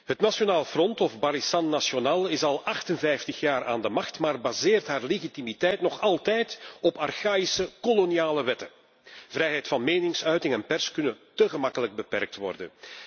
Het Nationaal Front of Barisan Nasional is al 58 jaar aan de macht, maar baseert haar legitimiteit nog altijd op archaïsche koloniale wetten vrijheid van meningsuiting en pers kunnen te gemakkelijk beperkt worden.